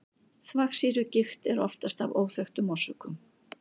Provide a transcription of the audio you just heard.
þvagsýrugigt er oftast af óþekktum orsökum